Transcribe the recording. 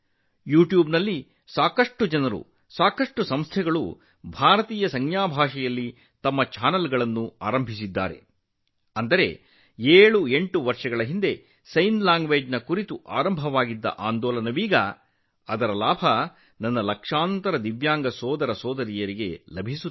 ಯೂಟ್ಯೂಬ್ನಲ್ಲಿ ಅನೇಕ ಜನರು ಅನೇಕ ಸಂಸ್ಥೆಗಳು ಭಾರತೀಯ ಸಂಜ್ಞೆ ಭಾಷೆಯಲ್ಲಿ ತಮ್ಮ ಚಾನೆಲ್ಗಳನ್ನು ಪ್ರಾರಂಭಿಸಿದ್ದಾರೆ ಅಂದರೆ 78 ವರ್ಷಗಳ ಹಿಂದೆ ಸಂಜ್ಞೆ ಭಾಷೆಯ ಕುರಿತು ದೇಶದಲ್ಲಿ ಪ್ರಾರಂಭವಾದ ಅಭಿಯಾನವು ಈಗ ನನ್ನ ಲಕ್ಷಾಂತರ ವಿಶೇಷ ಸಾಮರ್ಥ್ಯದ ಸಹೋದರ ಸಹೋದರಿಯರಿಗೆ ಪ್ರಯೋಜನವನ್ನು ನೀಡುತ್ತಿದೆ